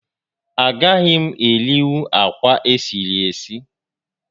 A gaghị m erinwu akwa esiri esi